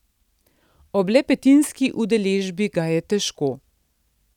Ob le petinski udeležbi ga je težko.